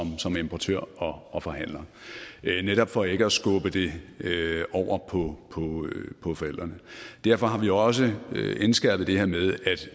som importør og og forhandler netop for ikke at skubbe det over på forældrene derfor har vi også indskærpet det her med